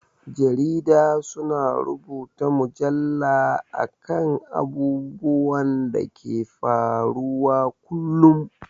Jarida su na rubuta mujalla a kan abubuwan da ke faruwa kullum